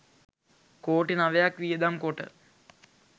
කෝටි නවයක් වියදම් කොට